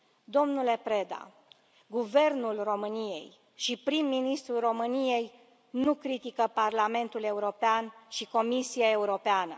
Domnule Preda, Guvernul României și prim ministrul României nu critică Parlamentul European și Comisia Europeană.